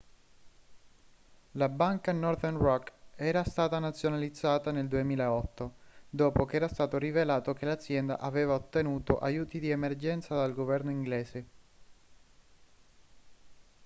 la banca northern rock era stata nazionalizzata nel 2008 dopo che era stato rivelato che l'azienda aveva ottenuto aiuti di emergenza dal governo inglese